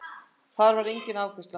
Þar var enginn afgreiðslu